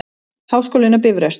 Háskólinn á Bifröst.